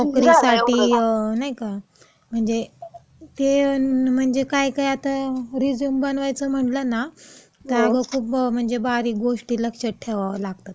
नोकरीसाठी, नाही का, म्हणजे ते म्हणजे काय काय आता रेझ्यूम बनवायचा म्हणलं ना, काय गं खूप म्हणजे बारीक गोष्टी लक्षात ठेवावं लागतात.